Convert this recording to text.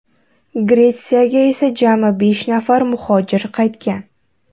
Gretsiyaga esa jami besh nafar muhojir qaytgan.